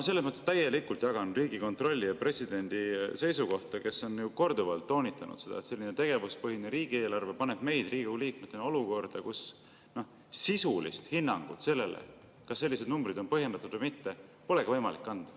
Selles mõttes ma täielikult jagan Riigikontrolli ja presidendi seisukohta, kes on ju korduvalt toonitanud, et selline tegevuspõhine riigieelarve paneb meid Riigikogu liikmetena olukorda, kus sisulist hinnangut sellele, kas need numbrid on põhjendatud või mitte, polegi võimalik anda.